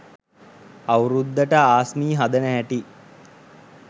අවුරුද්දට ආස්මී හදන හැටි